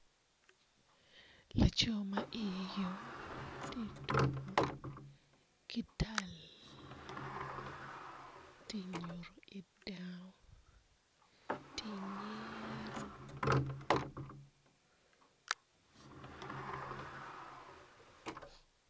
Laco ma iye yom ti tuku ki tal ti nyuto ki dano ti nyero.